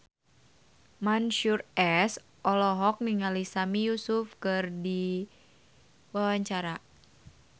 Mansyur S olohok ningali Sami Yusuf keur diwawancara